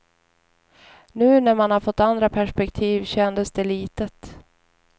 Nu när man fått andra perspektiv kändes det litet.